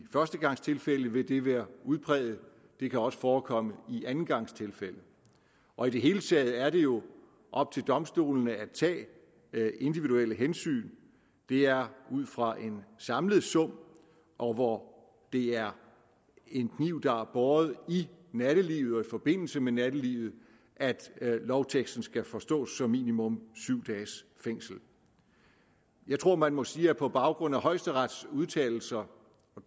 førstegangstilfælde vil det være udpræget det kan også forekomme i andengangstilfælde og i det hele taget er det jo op til domstolene at tage individuelle hensyn det er ud fra en samlet sum og hvor det er en kniv der er båret i nattelivet og i forbindelse med nattelivet at lovteksten skal forstås som minimum syv dages fængsel jeg tror man må sige at på baggrund af højesterets udtalelser